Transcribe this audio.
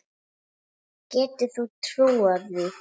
Getur þú trúað því?